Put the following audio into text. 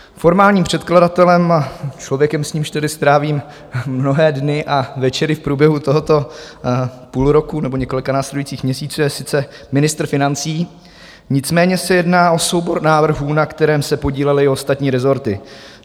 Formálním předkladatelem, člověkem, s nímž tedy strávím mnohé dny a večery v průběhu tohoto půl roku nebo několika následujících měsíců, je sice ministr financí, nicméně se jedná o soubor návrhů, na kterém se podílely i ostatní rezorty.